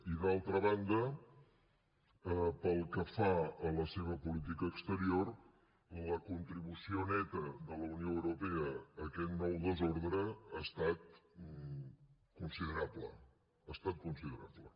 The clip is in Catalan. i d’altra banda pel que fa a la seva política exterior la contribució neta de la unió europea a aquest nou desordre ha estat considerable ha estat considerable